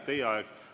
Teie aeg!